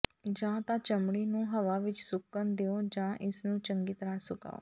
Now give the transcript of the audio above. ਜਾਂ ਤਾਂ ਚਮੜੀ ਨੂੰ ਹਵਾ ਵਿਚ ਸੁੱਕਣ ਦਿਓ ਜਾਂ ਇਸ ਨੂੰ ਚੰਗੀ ਤਰ੍ਹਾਂ ਸੁਕਾਓ